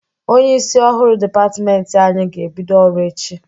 Onyeisi ọhụrụ dịpatmenti anyị ga-ebido ọrụ echi.